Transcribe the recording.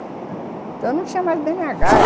Então, não tinha mais bê ene agá